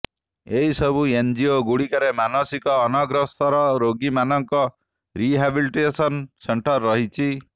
ଏହିସବୁ ଏନଜିଓ ଗୁଡ଼ିକରେ ମାନସିକ ଅନଗ୍ରସର ରୋଗୀମାନଙ୍କର ରିହାବିଲିଟେସନ ସେଣ୍ଟର୍ ରହିଛି